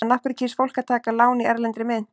En af hverju kýs fólk að taka lán í erlendri mynt?